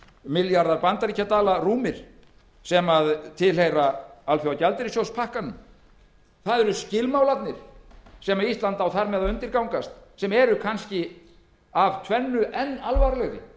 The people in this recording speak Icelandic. milljarðar bandaríkjadala rúmir sem tilheyra alþjóðagjaldeyrissjóðspakkanum það eru skilmálarnir sem ísland á þar með að undirgangast sem eru kannski af tvennu enn alvarlegri